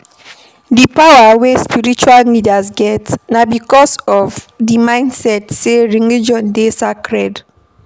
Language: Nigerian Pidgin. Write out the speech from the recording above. Di power wey spiritual leaders get na because of di mindset sey religion dey sacred